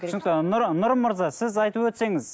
түсінікті ы нұрым мырза сіз айтып өтсеңіз